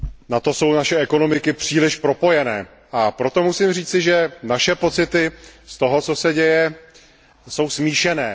Na to jsou naše ekonomiky příliš propojené, a proto musím říci, že naše pocity z toho, co se děje, jsou smíšené.